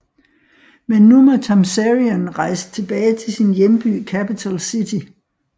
Men nu må Tamzarian rejse tilbage til sin hjemby Capitol City